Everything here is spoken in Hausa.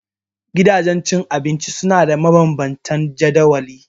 Gidajen abinci suna da mabanban tan jadawali.